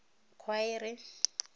khwaere